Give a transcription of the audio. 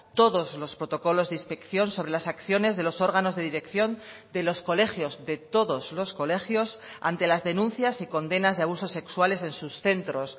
todos los protocolos de inspección sobre las acciones de los órganos de dirección de los colegios de todos los colegios ante las denuncias y condenas de abusos sexuales en sus centros